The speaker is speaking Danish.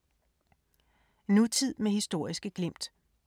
Nutid med historiske glimt